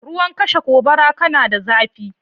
Ruwan kashe gobara, kana da zaɓi?